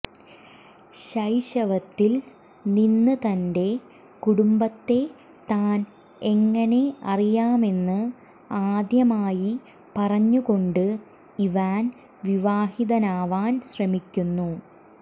ശൈശവത്തിൽ നിന്ന് തന്റെ കുടുംബത്തെ താൻ എങ്ങനെ അറിയാമെന്ന് ആദ്യമായി പറഞ്ഞുകൊണ്ട് ഇവാൻ വിവാഹിതനാവാൻ ശ്രമിക്കുന്നു